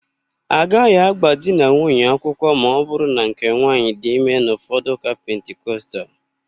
Agaghị agba di na nwunye akwụkwọ ma ọbụrụ na nke nwaanyị dị ime n'ụfọdụ ụka pentikostal.